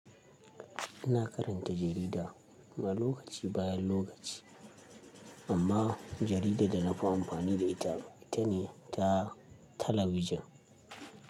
Ina karanta jarida, ma lokaci bayan lokaci, amma jaridar da na fi amfani da ita ita ne ta talabijin.